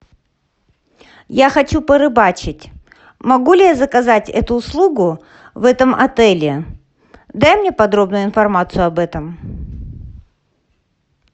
я хочу порыбачить могу ли я заказать эту услугу в этом отеле дай мне подробную информацию об этом